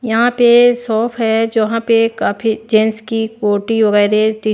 यहां पे शॉप है जहां पे काफी जेंस की कोटी वगैरह--